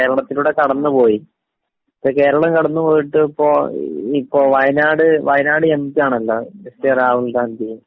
അതിപ്പോ കേരളത്തിലൂടെ കടന്നുപോയി. ഇപ്പൊ കേരളം കടന്നുപോയിട്ട് ഇപ്പൊ...വയനാട്..വയനാട് എം.പിയാണല്ലോ രാഹുൽഗാന്ധി.